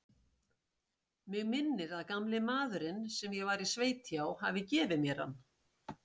Mig minnir að gamli maðurinn, sem ég var í sveit hjá, hafi gefið mér hann.